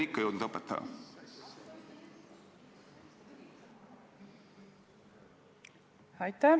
Aitäh!